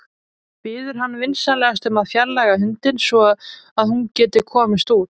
Biður hann vinsamlegast að fjarlægja hundinn svo að hún geti komist út.